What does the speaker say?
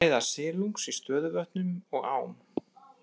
Fæða silungs í stöðuvötnum og ám.